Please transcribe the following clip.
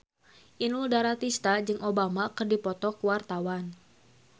Inul Daratista jeung Obama keur dipoto ku wartawan